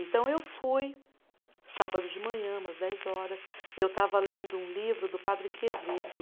Então, eu fui, sábado de manhã, umas dez horas, eu estava lendo um livro do Padre Quevedo,